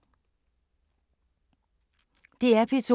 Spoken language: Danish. DR P2